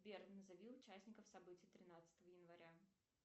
сбер назови участников событий тринадцатого января